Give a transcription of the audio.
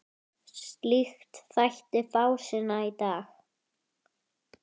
Slíkt þætti fásinna í dag.